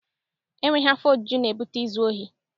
E nweghi afọ ojuju na-ebute izu ohi.